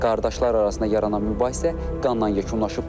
Qardaşlar arasında yaranan mübahisə qanla yekunlaşıb.